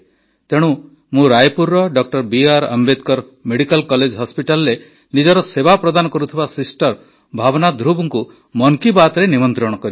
ତେଣୁ ମୁଁ ରାୟପୁରର ଡ ବିଆର୍ ଆମ୍ବେଦକର୍ ମେଡିକାଲ କଲେଜ ହସ୍ପିଟାଲରେ ନିଜର ସେବା ପ୍ରଦାନ କରୁଥିବା ସିଷ୍ଟର ଭାବ୍ନା ଧୃବଙ୍କୁ ମନ୍ କି ବାତ୍ରେ ନିମନ୍ତ୍ରିତ କରିଛି